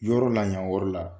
Yɔrɔ la yan yɔrɔ la